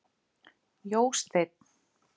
Jósteinn